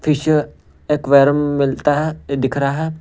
Fish aquarium मिलता है दिख रहा है।